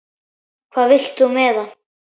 Hvað vilt þú með hann?